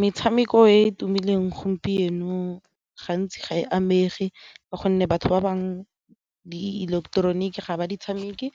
Metshameko e e tumileng gompieno gantsi ga e amegeng ka gonne batho ba bangwe di ileketeroniki ga ba di tshameke